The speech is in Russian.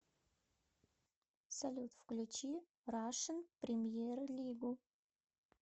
салют включи рашн премьер лигу